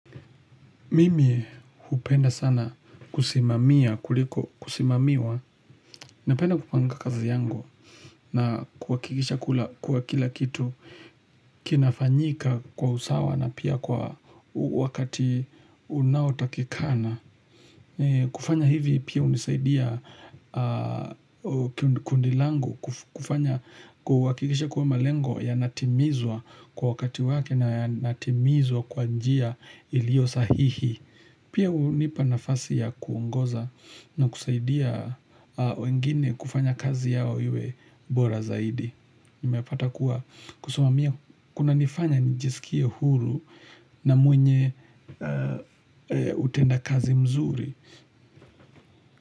Mimi hupenda sana kusimamia kuliko kusimamiwa napenda kupanga kazi yangu na kuhakikisha kuwa kila kitu kinafanyika kwa usawa na pia kwa wakati unaotakikana. Kufanya hivi pia hunisaidia kundi langu kufanya kuhakikisha kuwa malengo yanatimizwa kwa wakati wake na yanatimizwa kwa njia ilio sahihi. Pia hunipa nafasi ya kuongoza na kusaidia wengine kufanya kazi yao iwe bora zaidi. Nimepata kuwa kusumamia kunanifanya njisikie huru na mwenye utendakazi mzuri.